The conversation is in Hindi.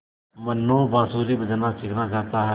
मनु बाँसुरी बजाना सीखना चाहता है